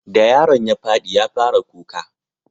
da yaron ya fadi ya fara kuka